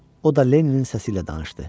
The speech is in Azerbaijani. O da Lenninin səsi ilə danışdı.